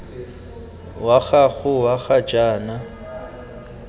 wa gago wa ga jaana